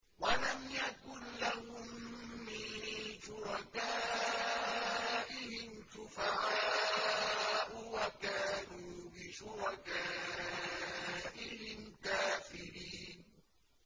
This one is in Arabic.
وَلَمْ يَكُن لَّهُم مِّن شُرَكَائِهِمْ شُفَعَاءُ وَكَانُوا بِشُرَكَائِهِمْ كَافِرِينَ